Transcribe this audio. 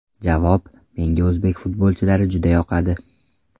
Javob: Menga o‘zbek futbolchilari juda yoqadi.